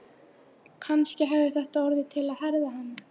Kannski hafði þetta orðið til að herða hann.